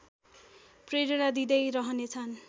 प्रेरणा दिँदै रहनेछ्न्